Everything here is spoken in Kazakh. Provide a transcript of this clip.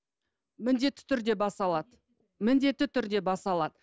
міндетті түрде баса алады міндетті түрде баса алады